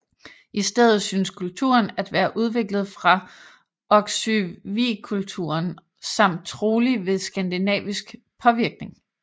I stedet synes kulturen at være udviklet fra Oksywiekulturen samt trolig ved skandinavisk påvirkning